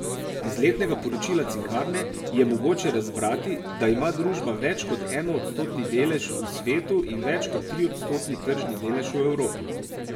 Iz letnega poročila Cinkarne je mogoče razbrati, da ima družba več kot enoodstotni delež v svetu in več kot triodstotni tržni delež v Evropi.